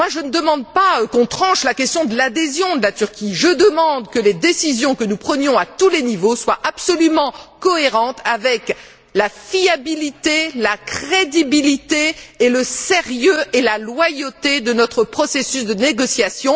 Je ne demande pas qu'on tranche la question de l'adhésion de la Turquie, je demande que les décisions que nous prenons à tous les niveaux soient absolument cohérentes avec la fiabilité, la crédibilité, le sérieux et la loyauté de notre processus de négociation.